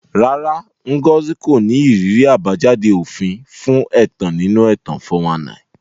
Rárá, Ngozi kò ní ìrírí àbájáde òfin fún ẹ̀tàn nínú ẹ̀tàn 419.